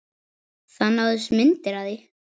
Það náðust myndir af því